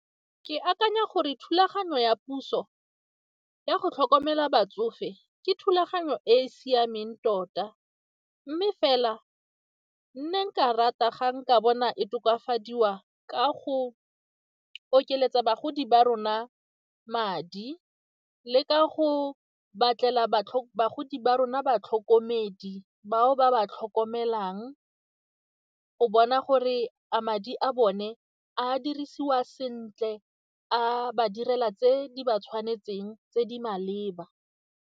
Ke akanya gore thulaganyo ya puso ya go tlhokomela batsofe ke thulaganyo e e siameng tota mme fela nne nka rata ga nka bona e tokafadiwa ka go ka okeletsa bagodi ba rona madi le ka go batlela bagodi ba rona batlhokomedi bao ba ba tlhokomelang o bona gore a madi a bone a dirisiwa sentle, a ba direla tse di ba tshwanetseng tse di maleba.